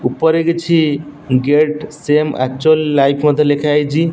ଉପରେ କିଛି get same actual life ମଧ୍ୟ ଲେଖା ହେଇଚି।